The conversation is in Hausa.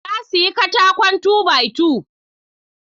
Na siya katakon two by two